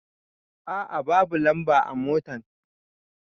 A a babu lamba a motan.